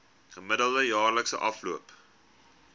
gemiddelde jaarlikse afloop